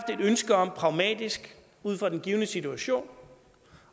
ønske om pragmatisk ud fra den givne situation